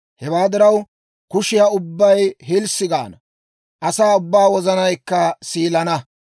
Hewaa diraw, kushiyaa ubbay hilssi gaana; asaa ubbaa wozanaykka siilana.